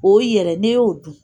O yɛrɛ, n'i y'o dun!